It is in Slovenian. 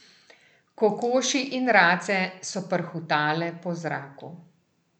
Kokoši in race so prhutale po zraku.